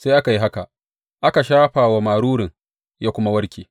Sai aka yi haka, aka shafa wa marurun, ya kuma warke.